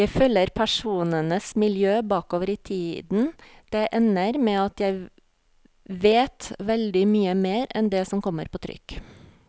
Jeg følger personenes miljø bakover i tiden, det ender med at jeg vet veldig mye mer enn det som kommer på trykk.